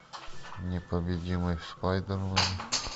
непобедимый спайдермен